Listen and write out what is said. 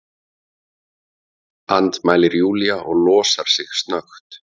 andmælir Júlía og losar sig snöggt.